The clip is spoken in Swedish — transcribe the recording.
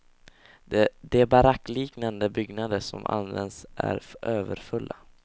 De barackliknande byggnader som används är överfulla.